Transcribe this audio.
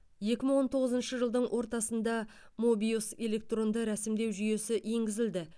екі мың он тоғызыншы жылдың ортасында мобиус электронды рәсімдеу жүйесі енгізілді